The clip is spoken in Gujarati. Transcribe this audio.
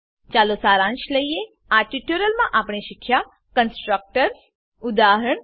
ચાલો સારાંશ લઈએ આ ટ્યુટોરીયલમાં આપણે શીખ્યા કન્સ્ટ્રક્ટર્સ કન્સ્ટ્રકટર્સ ઉદા